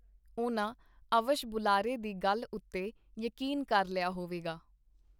ਉਹਨਾਂ ਅਵੱਸ਼ ਬੁਲਾਰੇ ਦੀ ਗੱਲ ਉਤੇ ਯਕੀਨ ਕਰ ਲਿਆ ਹੋਵੇਗਾ.